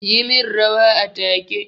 Yi min rawa a take!